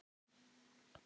Þetta er ekta mamma!